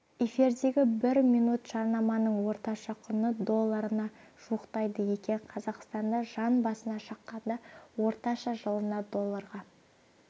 эфирдегі бір минут жарнаманың орташа құны долларына жуықтайды екен қазақстанда жан басына шаққанда орташа жылына долларға